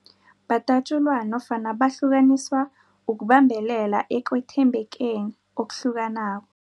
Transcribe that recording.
Badatjulwa nofana bahlukaniswa ukubambelela ekwethembekeni okuhlukanako.